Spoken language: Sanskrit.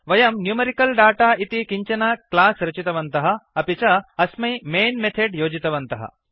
वयं न्यूमेरिकलदाता एति किञ्चन क्लास् रचितवन्तः अपि च अस्मै मैन् मेथेड् योजितवन्तः